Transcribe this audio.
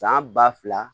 San ba fila